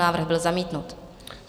Návrh byl zamítnut.